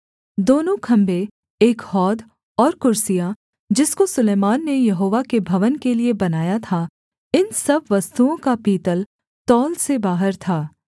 दोनों खम्भे एक हौद और कुर्सियाँ जिसको सुलैमान ने यहोवा के भवन के लिये बनाया था इन सब वस्तुओं का पीतल तौल से बाहर था